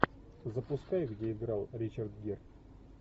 запускай где играл ричард гир